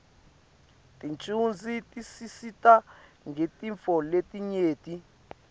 tincuadzi tisisita ngetintfo letinyenti